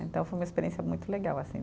Então, foi uma experiência muito legal, assim.